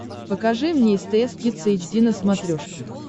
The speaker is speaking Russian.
покажи мне стс кидс эйч ди на смотрешке